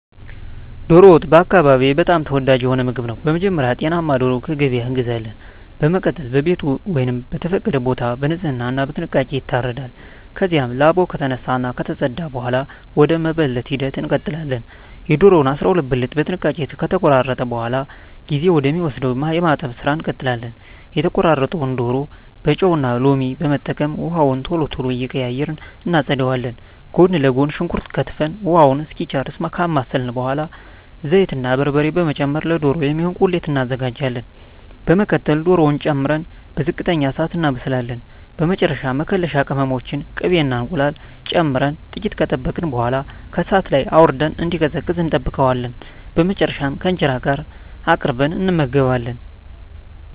ዶሮ ወጥ በአካባቢየ በጣም ተወዳጅ የሆነ ምግብ ነው። በመጀመሪያ ጤናማ ዶሮ ከገበያ እንገዛለን። በመቀጠል በቤት ወይም በተፈቀደ ቦታ በንጽህና እና በጥንቃቄ ይታረዳል። ከዚያም ላባው ከተነሳ እና ከተፀዳ በኃላ ወደ መበለት ሂደት እንቀጥላለን። የዶሮውን 12 ብልት በጥንቃቄ ከተቆራረጠ በኃላ ጊዜ ወደ ሚወስደው የማጠብ ስራ እንቀጥላለን። የተቆራረጠውን ዶሮ በጨው እና ሎሚ በመጠቀም ውሃውን ቶሎ ቶሎ እየቀያየርን እናፀዳዋለን። ጎን ለጎን ሽንኩርት ከትፈን ውሃውን እስኪጨርስ ካማሰልን በኃላ ዘይት እና በርበሬ በመጨመር ለዶሮ የሚሆን ቁሌት እናዘጋጃለን። በመቀጠል ዶሮውን ጨምረን በዝቅተኛ እሳት እናበስላለን። በመጨረሻ መከለሻ ቅመሞችን፣ ቅቤ እና እንቁላል ጨምረን ጥቂት ከጠበቅን በኃላ ከእሳት ላይ አውርደን እንዲቀዘቅዝ እንጠብቀዋለን። በመጨረሻም ከእንጀራ ጋር አቅርበን እንመገባለን።